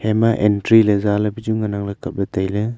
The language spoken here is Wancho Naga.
ema entry ley zaley pachu ngan kapley tailey.